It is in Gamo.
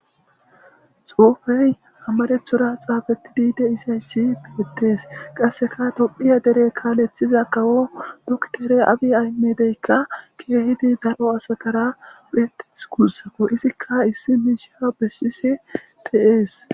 xoofey amarethora xaabatidide isayssi beettees qasseka dophiya dere kaaleththiza kawo duktere abi aymedeykka kehidi daro asakara phetes kuussako izikka issi miisha bessisi peees